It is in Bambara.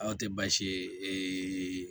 Anw tɛ baasi ye